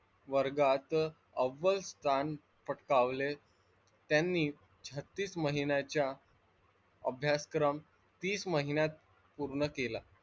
वर्गात अव्व्ल स्थान पटकावले त्यांनी छत्तीस महिन्याच्या अभ्यासक्रम तीस महिन्यात पूर्ण केला.